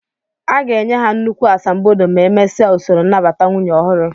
A ga-enye ha nnukwu asambodo ma emesia usoro nnabata nwunye ọhụrụ